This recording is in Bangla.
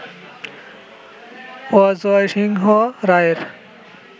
অজয় সিংহ রায়ের